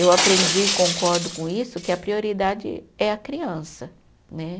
Eu aprendi, concordo com isso, que a prioridade é a criança, né?